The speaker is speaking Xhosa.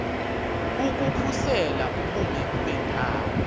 ukukhusela ubume bendawo